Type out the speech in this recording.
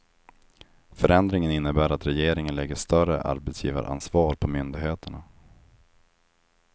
Förändringen innebär att regeringen lägger större arbetsgivaransvar på myndigheterna.